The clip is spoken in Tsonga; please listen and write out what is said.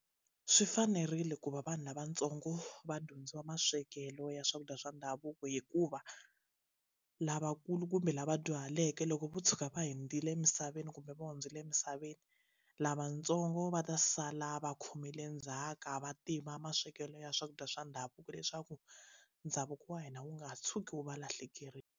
Swi fanerile ku va vanhu lavatsongo va dyondzisiwa maswekelo ya swakudya swa ndhavuko hikuva lavakulu kumbe lava dyuhaleke loko vo tshuka va hundzile emisaveni kumbe kumbe va hundzile emisaveni lavatsongo va ta sala va khomile ndzhaka va tiva maswekelo ya swakudya swa ndhavuko leswaku ndhavuko wa hina wu nga tshuki wu va lahlekerile.